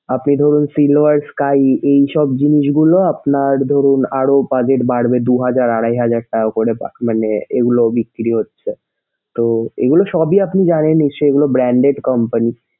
আপনি ধরুন silver sky এইসব জিনিসগুলো আপনার ধরুন আরো বাজেট বাড়বে দুই হাজার আড়াই হাজার টাকা করে মানে এগুলো বিক্রি হচ্ছে। তো এগুলা সবই আপনে জানেন নিশ্চয়ই এগুলো branded company